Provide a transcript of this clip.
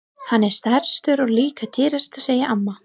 Hann er stærstur og líka dýrastur segir amma.